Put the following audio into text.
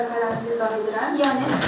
hüquq və vəzifələrinizi izah edirəm.